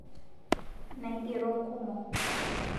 Naigero nkumo